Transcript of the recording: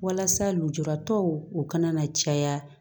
Walasa lujuratɔw u kana na caya